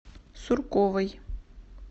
сурковой